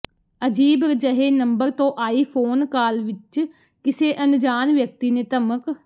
ਅਜੀਬ ਜਹੇ ਨੰਬਰ ਤੋਂ ਆਈ ਫੋਨ ਕਾਲ ਵਿੱਚ ਕਿਸੇ ਅਨਜਾਣ ਵਿਅਕਤੀ ਨੇ ਧਮਕ